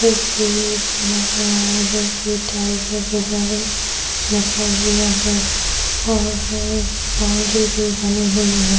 इसलिए बना हुआ है जो कि टाइगर है लिखा हुआ है और इस बॉउंड्री भी बनी हुई है।